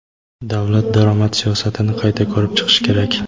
"Davlat daromad siyosatini qayta ko‘rib chiqishi kerak".